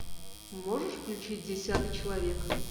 можешь включить десятый человек